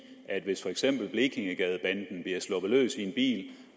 at hvis for eksempel blekingegadebanden bliver sluppet løs i en